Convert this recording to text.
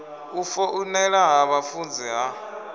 u foinela ha vhafunzi ha